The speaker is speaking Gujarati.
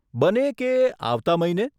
બને કે આવતાં મહિને.